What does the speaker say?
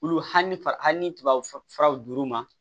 Olu hamituba furaw d'u ma